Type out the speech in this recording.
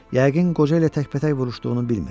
Yəqin qoca ilə təkbətək vuruşduğunu bilmir.